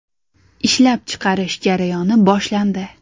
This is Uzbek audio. Ishlab chiqarish jarayoni boshlandi.